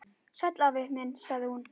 Sæll afi minn sagði hún.